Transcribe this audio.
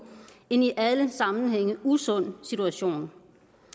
en i alle sammenhænge usund situation